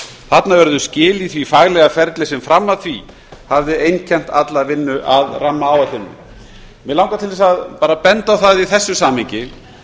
þarna urðu skil í því faglega ferli sem fram að því hafði einkennt alla vinnu að rammaáætluninni mig langar til að benda á það í þessu samhengi